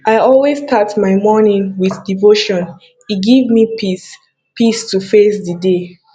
i always start my morning with devotion e give me peace to face di day